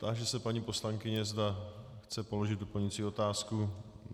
Táži se paní poslankyně, zda chce položit doplňující otázku.